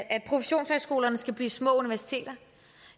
at professionshøjskolerne skal blive små universiteter